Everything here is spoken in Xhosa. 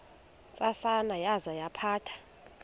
ntsasana yaza yaphatha